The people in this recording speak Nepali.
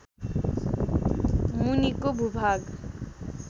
मुनिको भूभाग